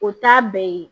O t'a bɛɛ ye